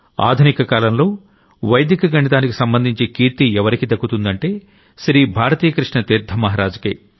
ఆధునిక కాలంలో వైదిక గణితానికి సంబంధించిన కీర్తెవరికి దక్కుతుందంటే శ్రీ భారతీ కృష్ణ తీర్థ మహరాజ్ కే